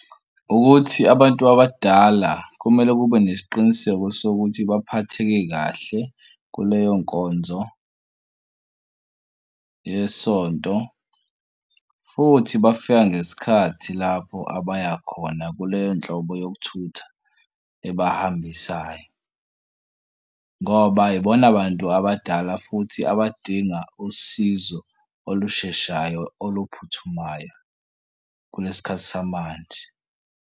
Ukuthi abantu abadala kumele kube nesiqiniseko sokuthi baphatheke kahle kuleyo nkonzo yesonto, futhi bafika ngesikhathi lapho abaya khona kuleyo nhlobo yokuthutha ebahambisayo ngoba ibona bantu abadala futhi abadinga usizo olusheshayo oluphuthumayo kulesi khathi samanje.